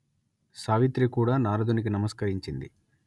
సావిత్రి కూడా నారదునికి నమస్కరించింది